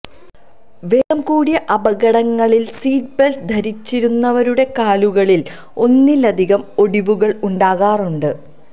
വേഗംകൂടിയ അപകടങ്ങളില് seat belt ധരിച്ചിരുന്നവരുടെ കാലുകളില് ഒന്നിലധികം ഒടിവുകള് ഉണ്ടാകാറുണ്ട്